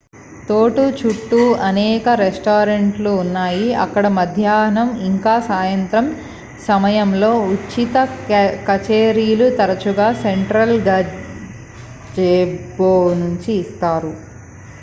తోట చుట్టూ అనేక రెస్టారెంట్లు ఉన్నాయి అక్కడ మధ్యాహ్నం ఇంక సాయంత్రం సమయంలో ఉచిత కచేరీలు తరచుగా సెంట్రల్ గజెబో నుంచి ఇస్తారు